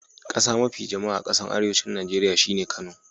Kasa mafi jama'a a kasan arewancin Nijeriya shine Kano.